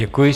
Děkuji.